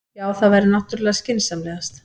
Já, það væri náttúrlega skynsamlegast.